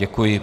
Děkuji.